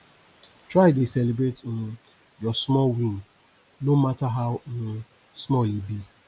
try dey celibrate um yur small win no mata how um small e be